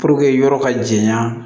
yɔrɔ ka janya